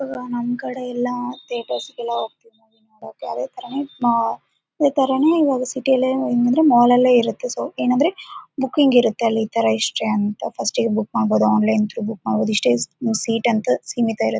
ನಮ್‌ ಕಡೆ ಎಲ್ಲಾ ಥಿಯೇಟರ್ಸ್‌ಗೆಲ್ಲಾ ಹೋಗ್ತಿದ್ದಾರೆ ನೋಡಕ್ಕೆ ಅದೇ ತರನೆ ಆ ಅದೇ ತರಾನೆ ಇವಾಗ ಸಿಟಿಯಲ್ಲಿ ಏನಿದ್ರು ಮಾಲ್‌ ಅಲ್ಲೇ ಇರುತ್ತೆ ಸೋ ಏನಂದ್ರೆ ಬುಕಿಂಗ್‌ ಇರುತ್ತೆ ಅಲ್ಲಿ ಈ ತರ ಇಷ್ಟೆ ಅಂತ ಫಸ್ಟ್‌ಗೆ ಬುಕ್ ಮಾಡ್ಬೋದು ಆನ್ಲೈನ್‌ ಬುಕ್‌ ಮಾಡ್ಬೋದು ಇಷ್ಟೇ ಸೀಟ್‌ ಅಂತ ಸೀಮಿತ ಇರೋದು.